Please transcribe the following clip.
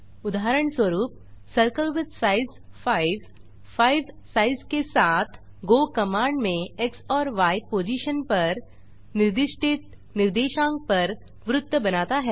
उदाहरणस्वरूप circle with size 5 5 size के साथ गो कमांड में एक्स और य पोजिशन पर निर्दिष्टित निर्देशांक पर वृत्त बनाता है